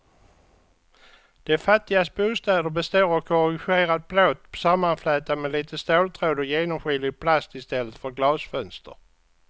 De fattigas bostäder består av korrugerad plåt sammanflätad med lite ståltråd och genomskinlig plast i stället för glasfönster.